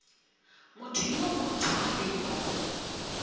motho yo borutho gape yo